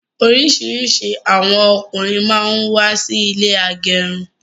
Orisirisi àwọn ọkùnrin máa ń wà sí ilé agẹrun